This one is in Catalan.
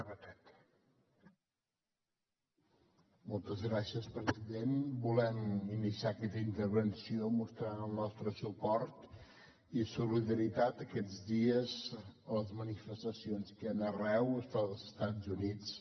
volem iniciar aquesta intervenció mostrant el nostre suport i solidaritat aquests dies a les manifestacions que hi han arreu dels estats units